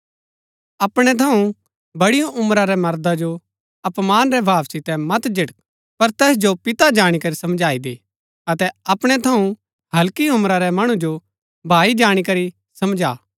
अपणै थऊँ बड़ी उम्रा रै मर्दा जो अपमान रै भाव सितै मत झिड़क पर तैस जो पिता जाणी करी समझाई दै अतै अपणै थऊँ हल्की उम्रा रै मणु जो भाई जाणी करी समझा